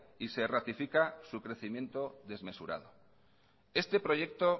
y se ratifica su crecimiento desmesurado este proyecto